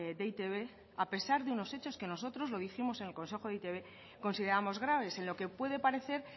de e i te be a pesar de unos hechos que a nosotros lo dijimos en el consejo de e i te be consideramos graves en lo que puede parecer